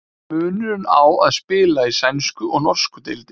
Hver er munurinn á að spila í sænsku og norsku deildinni?